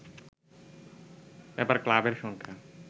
এবার ক্লাবের সংখ্যা